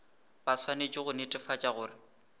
ba swanetše go netefatša gore